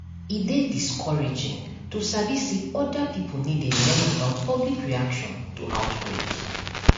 e dey discouraging to sabi say other pipo no dey learn about public reaction to outbreak